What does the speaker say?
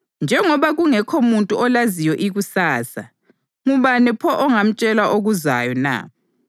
Njengoba kungekho muntu olaziyo ikusasa, ngubani pho ongamtshela okuzayo na?